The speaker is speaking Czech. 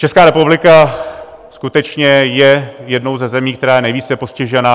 Česká republika skutečně je jednou ze zemí, která je nejvíce postižená.